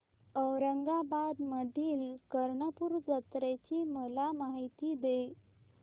औरंगाबाद मधील कर्णपूरा जत्रेची मला माहिती दे